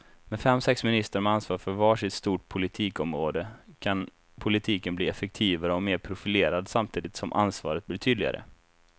Med fem, sex ministrar med ansvar för var sitt stort politikområde kan politiken bli effektivare och mer profilerad samtidigt som ansvaret blir tydligare.